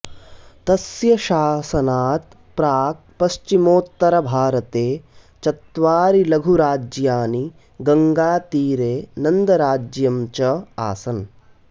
तस्य शासनात् प्राक् पश्चिमोत्तरभारते चत्वारि लघुराज्यानि गङ्गातीरे नन्दराज्यम् च आसन्